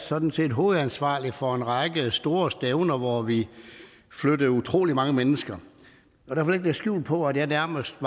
sådan set hovedansvarlig for en række store stævner hvor vi flyttede utrolig mange mennesker og jeg vil skjul på at jeg nærmest